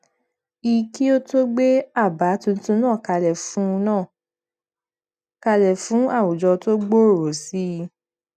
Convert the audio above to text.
i kí ó tó gbé àbá tuntun náà kalẹ fún náà kalẹ fún àwùjọ tó gbòòrò sí i